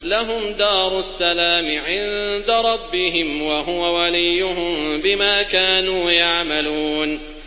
۞ لَهُمْ دَارُ السَّلَامِ عِندَ رَبِّهِمْ ۖ وَهُوَ وَلِيُّهُم بِمَا كَانُوا يَعْمَلُونَ